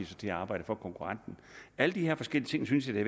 til at arbejde for konkurrenten alle de her forskellige ting synes jeg